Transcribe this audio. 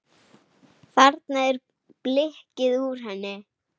Þarna er blikkið úr henni.